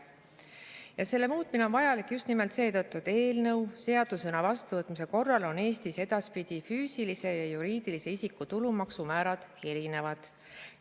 Ja selle muutmine on vajalik just nimelt seetõttu, et eelnõu seadusena vastuvõtmise korral on Eestis edaspidi füüsilise ja juriidilise isiku tulumaksumäärad erinevad.